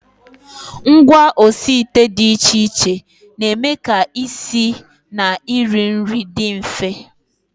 Ngwaosiite dị iche iche na-eme ka isi na iri nri dị mfe